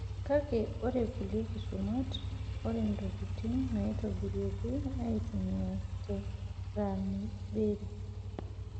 Kake ore kulie kisumat, ore ntokitin naitobiraki eitumiyai te kraniberi.